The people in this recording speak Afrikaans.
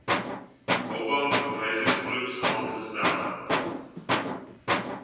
oba verwysingsgroep saamgestel